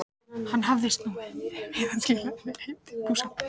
Hann hafði snúið við og skilað henni heim í fússi.